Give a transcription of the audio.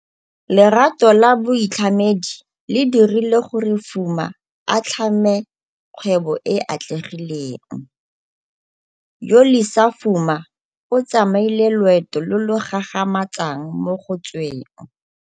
Lerato la boitlhamedi le dirile gore Fuma a tlhame kgwebo e e atlegileng. Yolisa Fuma o tsamaile loeto lo lo gagamatsang mo go tsweng